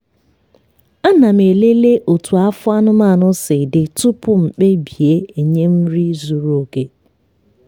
ana m elele otú afọ anụmanụ si dị tupu m kpebie enye m nri zuru oke.